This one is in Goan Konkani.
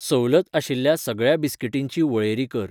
सवलत आशिल्ल्या सगळ्या बिस्कीटींची वळेरी कर.